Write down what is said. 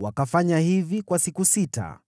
Wakafanya hivi kwa siku sita.